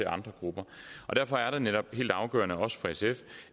andre grupper derfor er det netop helt afgørende også for sf